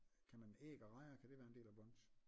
Kan man æg og rejer kan det være en del af brunch?